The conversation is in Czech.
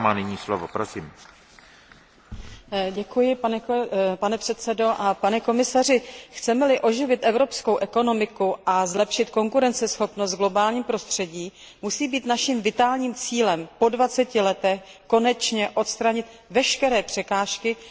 Pane předsedající, chceme li oživit evropskou ekonomiku a zlepšit konkurenceschopnost v globálním prostředí, musí být naším vitálním cílem po dvaceti letech konečně odstranit veškeré překážky, které brání zejména malým a středním podnikům v rozvoji jejich podnikání.